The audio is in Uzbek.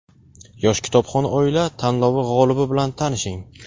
"Yosh kitobxon oila" tanlovi g‘olibi bilan tanishing.